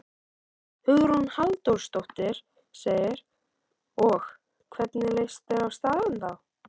Hugrún Halldórsdóttir: Og, hvernig leist þér á staðinn þá?